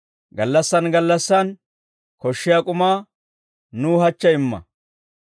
Gallassaan gallassaan koshshiyaa k'umaa, nuw hachche imma;